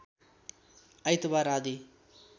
आइतवार आदि